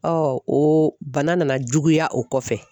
o bana nana juguya o kɔfɛ